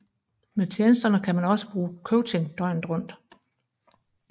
Med tjenesterne kan man også bruge coaching døgnet rundt